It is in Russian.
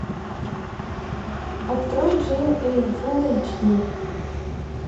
открой джейн эйр фулл эйч ди